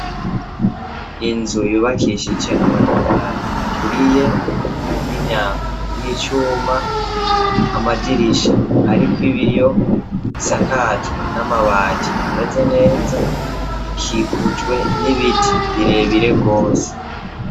Inzu yubakishije amatafari aturiye n'imyango y'icuma amadirisha ariko ibiyo isakajwe n'amabati ameze neza ikikujwe n'ibiti birebire gose.